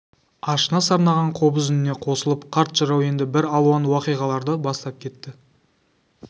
ашына сарнаған қобыз үніне қосылып қарт жырау енді бір алуан уақиғаларды бастап кетті